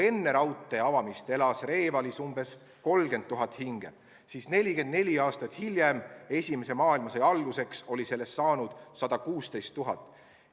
Enne raudtee avamist elas Revalis umbes 30 000 hinge, kuid 44 aastat hiljem, esimese maailmasõja alguseks oli neid juba 116 000.